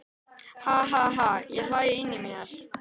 Ha ha ha ég hlæ inní mér.